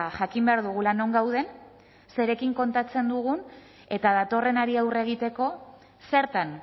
jakin behar dugula non gauden zerekin kontatzen dugun eta datorrenari aurre egiteko zertan